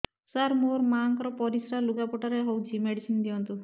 ସାର ମୋର ମାଆଙ୍କର ପରିସ୍ରା ଲୁଗାପଟା ରେ ହଉଚି ମେଡିସିନ ଦିଅନ୍ତୁ